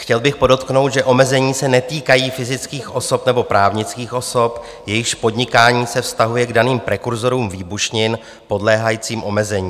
Chtěl bych podotknout, že omezení se netýkají fyzických osob nebo právnických osob, jejichž podnikání se vztahuje k daným prekurzorům výbušnin podléhajícím omezení.